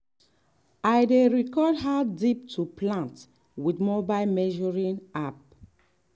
i dey record how deep to plant with mobile measuring app.